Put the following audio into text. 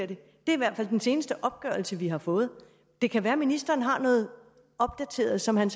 det er i hvert fald den seneste opgørelse vi har fået det kan være ministeren har noget opdateret som han